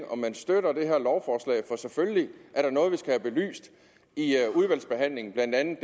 om man støtter det her lovforslag for selvfølgelig er der noget vi skal have belyst i udvalgsbehandlingen blandt andet